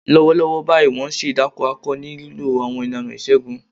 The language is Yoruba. Lọ́wọ́lọ́wọ́ báyìí, wọ́n ń ṣe ìdákó akọ ní lílo àwọn ìlànà ìṣègùn.